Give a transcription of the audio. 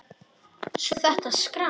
Svo þetta skrans.